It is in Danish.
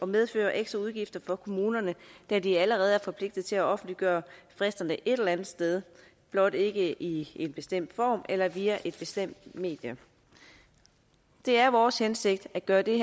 medføre ekstraudgifter for kommunerne da de allerede er forpligtet til at offentliggøre fristerne et eller andet sted blot ikke i en bestemt form eller via et bestemt medie det er vores hensigt at gøre det